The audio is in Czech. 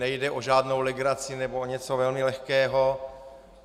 Nejde o žádnou legraci nebo o něco velmi lehkého.